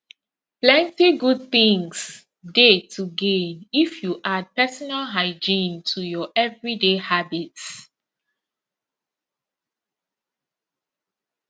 plenty good things dey to gain if you add personal hygiene to your everyday habits